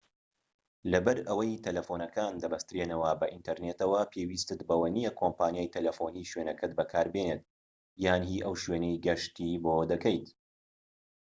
لەبەر ئەوەی تەلەفونەکان دەبەسترێنەوە بە ئینتەرنێتەوە پێویستت بەوە نیە کۆمپانیای تەلەفونی شوێنەکەت بەکاربێنیت یان هی ئەو شوێنەی گەشتی بۆ دەکەیت